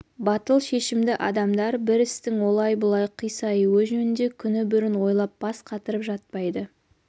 батыл шешімді адамдар бір істің олай бұлай қисаюы жөнінде күні бұрын ойлап бас қатырып жатпайды